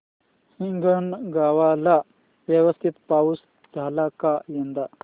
हिंगणगाव ला व्यवस्थित पाऊस झाला का यंदा